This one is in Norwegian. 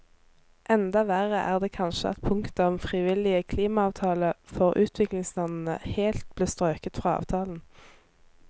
Enda verre er det kanskje at punktet om frivillige klimaavtaler for utviklingslandene helt ble strøket fra avtalen.